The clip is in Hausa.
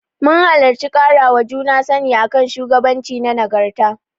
Mun halarci ƙarawa juna sani a kan shugabanci da nagarta.